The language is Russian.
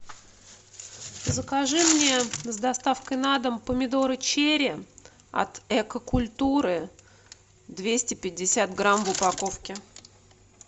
закажи мне с доставкой на дом помидоры черри от эко культуры двести пятьдесят грамм в упаковке